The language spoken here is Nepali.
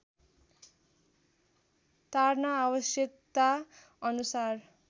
तार्न आवश्यकता अनुसार